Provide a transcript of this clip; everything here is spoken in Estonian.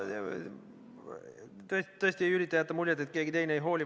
Ma tõesti ei ürita jätta muljet, et keegi teine ei hooli.